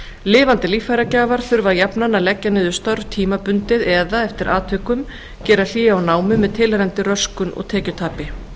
lifandi líffæragjafar þurfa jafnan að leggja niður störf tímabundið eða eftir atvikum gera hlé á námi með tilheyrandi röskun og tekjutapi